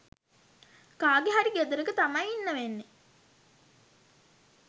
කාගේ හරි ගෙදරක තමයි ඉන්න වෙන්නේ